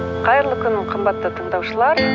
қайырлы күн қымбатты тыңдаушылар